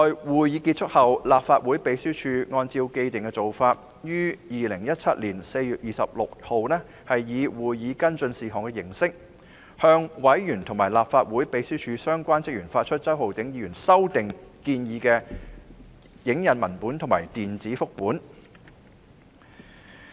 會議結束後，立法會秘書處按照既定做法，在2017年4月26日以會議跟進事項的形式，向委員及立法會秘書處相關職員發出周浩鼎議員修訂建議的影印文本及電子複本。